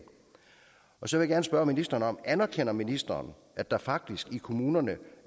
så jeg vil gerne spørge ministeren anerkender ministeren at der faktisk i kommunerne